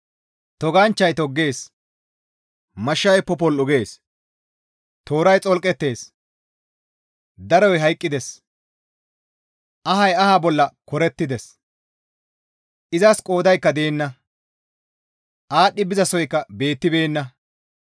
Toganchchay toggees; mashshay popol7u gees; tooray xolqettees; daroy hayqqides; ahay aha bolla korettides; izas qoodaykka deenna; aadhdhi bizasoykka beettibeenna.